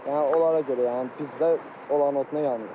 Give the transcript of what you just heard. Yəni onlara görə yəni bizdə olan oduna yanırıq.